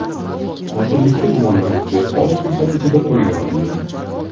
Qotillikda gumonlanuvchi oz fursat ichida qo‘lga olindi.